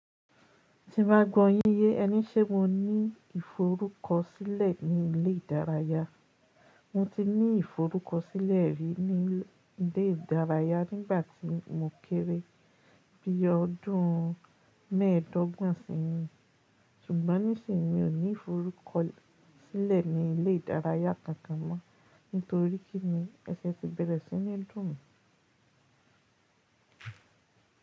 Ti n ba gbọ́ yín yẹ, ẹní ṣé mo ní ìforúkọsílẹ̀ ní ilé ìdárayá. Mo ti ní ìforúkọsílẹ̀ rí ní ilé ìdárayá nígbà tí mo kéré bí i ọdún mẹ́ẹ̀dọ́gbọ̀n sẹ́yìn, ṣùgbọ́n níṣìnyí mi ò ní ìforúkọsílẹ̀ ní ilé ìdárayá kankan mọ́ nítorí kí ni ẹsẹ ti bẹ̀rẹ̀ sí ní dùn mí.